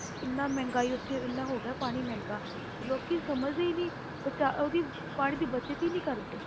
ਇੰਨਾ ਮਹਿੰਗਾਈ ਉੱਥੇ ਇੰਨਾ ਹੋ ਗਿਆ ਪਾਣੀ ਮਹਿੰਗਾ ਕਿ ਲੋਕੀ ਸਮਝਦੇ ਹੀ ਨੀ ਬਚਾਅ ਉਹਦੀ ਪਾਣੀ ਦੀ ਬਚਤ ਹੀ ਨੀ ਕਰਦੇ।